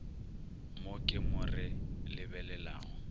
mo ke mo re lebelelago